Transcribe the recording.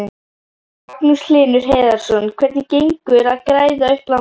Magnús Hlynur Hreiðarsson: Hvernig gengur að græða upp landið?